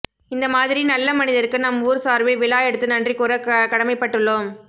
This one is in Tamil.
இந்த மாதிரி நல்ல மனிதருக்கு நம் ஊர் சார்பில் விழா எடுத்து நன்றி கூற கடமைப்பட்டுள்ளோம்